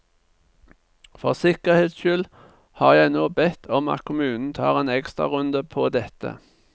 For sikkerhets skyld har jeg nå bedt om at kommunen tar en ekstrarunde på dette.